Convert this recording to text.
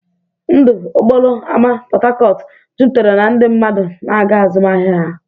Ndụ okporo ámá Port Harcourt jupụtara na ndị mmadụ na-aga azụmahịa ha.